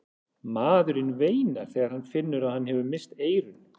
Maðurinn veinar þegar hann finnur að hann hefur misst eyrun.